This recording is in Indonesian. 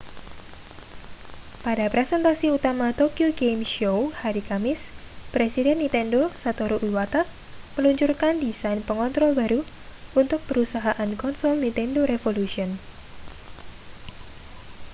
pada presentasi utama tokyo game show hari kamis presiden nintendo satoru iwata meluncurkan desain pengontrol baru untuk perusahaan konsol nintendo revolution